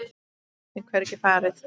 Við getum hvergi farið.